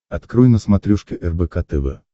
открой на смотрешке рбк тв